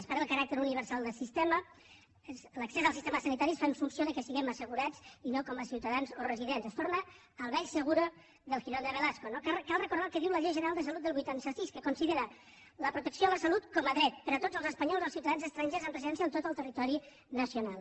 es perd el caràcter universal del sistema l’accés al sistema sanitari es fa en funció del fet que siguem assegurats i no com a ciutadans o residents es torna al vell seguroque diu la llei general de salut del vuitanta sis que considera la protecció a la salut com a dret per a tots els espanyols o els ciutadans estrangers amb residència a tot el territori nacional